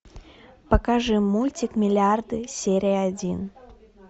покажи мультик миллиарды серия один